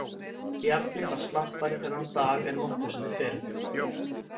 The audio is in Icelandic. Bjarni var slappari þennan dag en nokkru sinni fyrr.